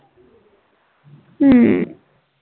ਹਮ